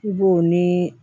I b'o nii